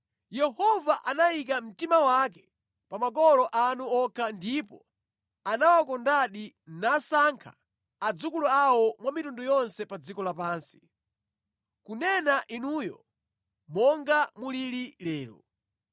Yehova anayika mtima wake pa makolo anu okha ndipo anawakondadi nasankha adzukulu awo mwa mitundu yonse pa dziko lapansi, kunena inuyo monga mulili lero.